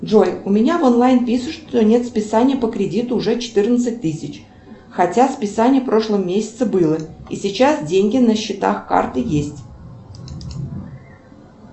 джой у меня в онлайн пишут что нет списания по кредиту уже четырнадцать тысяч хотя списание в прошлом месяце было и сейчас деньги на счетах карты есть